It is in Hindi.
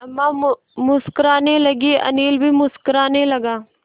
अम्मा मुस्कराने लगीं अनिल भी मुस्कराने लगा